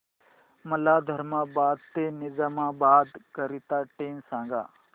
मला धर्माबाद ते निजामाबाद करीता ट्रेन सांगा